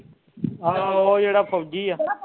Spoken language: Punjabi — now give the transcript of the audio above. ਆਹੋ ਉਹ ਜਿਹੜਾ ਫੌਜੀ ਆ